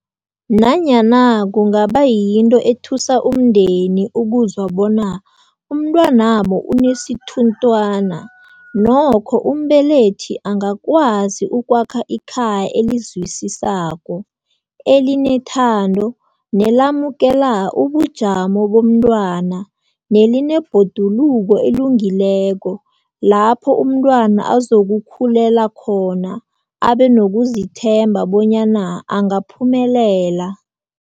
Nanyana kungaba yinto ethusa umndeni ukuzwa bona umntwanabo unesithunthwana, nokho umbelethi angakwazi ukwakha ikhaya elizwisisako, elinethando nelamukela ubujamo bomntwana nelinebhoduluko elungileko lapho umntwana azokukhulela khona, abe nokuzithemba bonyana angaphumelela.